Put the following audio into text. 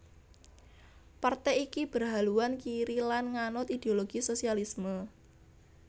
Partai iki berhaluan kiri lan nganut ideologi sosialisme